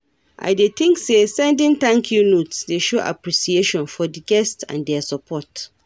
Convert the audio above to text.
I dey think say sending thank-you notes dey show appreciation for di guests and dia support.